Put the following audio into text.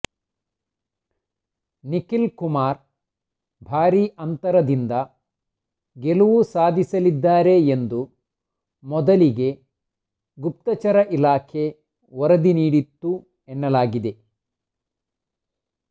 ನಿಖಿಲ್ ಕುಮಾರ್ ಭಾರೀ ಅಂತರದಿಂದ ಗೆಲುವು ಸಾಧಿಸಲಿದ್ದಾರೆ ಎಂದು ಮೊದಲಿಗೆ ಗುಪ್ತಚರ ಇಲಾಖೆ ವರದಿ ನೀಡಿತ್ತು ಎನ್ನಲಾಗಿದೆ